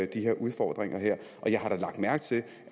de her udfordringer jeg har da lagt mærke til